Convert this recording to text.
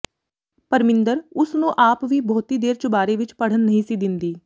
ਪਰਮਿੰਦਰ ਉਸ ਨੂੰ ਆਪ ਵੀ ਬਹੁਤੀ ਦੇਰ ਚੁਬਾਰੇ ਵਿੱਚ ਖੜ੍ਹਨ ਨਹੀਂ ਸੀ ਦਿੰਦੀ